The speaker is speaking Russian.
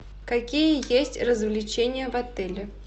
какие есть развлечения в отеле